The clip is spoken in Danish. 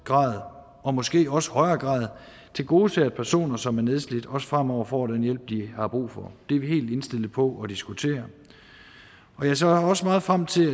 grad og måske også i højere grad tilgodeser personer som er nedslidte også fremover får den hjælp de har brug for det er vi helt indstillet på at diskutere og jeg ser også meget frem til at